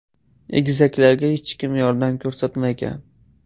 Egizaklarga hech kim yordam ko‘rsatmagan.